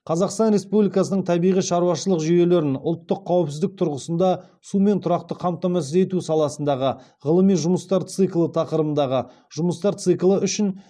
қазақстан республикасының табиғи шаруашылық жүйелерін ұлттық қауіпсіздік тұрғысында сумен тұрақты қамтамасыз ету саласындағы ғылыми жұмыстар циклі тақырыбындағы жұмыстар циклі үшін